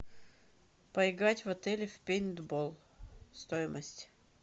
поиграть в отеле в пейнтбол стоимость